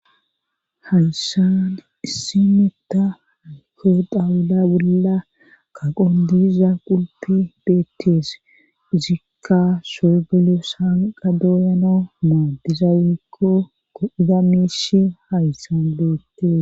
hayssan issi metta haykko dawula wulla kaqon diiza qulpe beettees uzikka soogelo saanqa dooyana maadiza wekkokko ida miishi hayssan boettes